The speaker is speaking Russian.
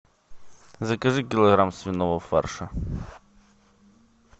закажи килограмм свиного фарша